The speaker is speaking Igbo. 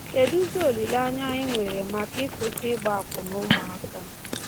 Kedụzi olileanya anyị nwere maka ịkwụsị ịgba akwụna ụmụaka?